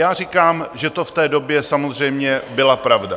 Já říkám, že to v té době samozřejmě byla pravda.